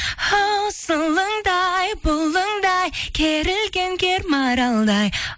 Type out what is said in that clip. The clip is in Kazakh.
ау сылыңдай бұлыңдай керілген кер маралдай